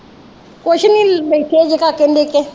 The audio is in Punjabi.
ਕੁਛ ਨੀ ਬੈਠੇ